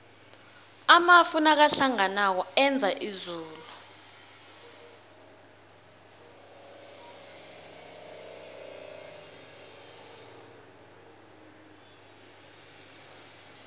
amafu nakahlanganako enza izulu